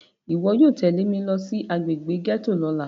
Iwọ yóò tẹle mi lo si agbegbe gẹto lọla!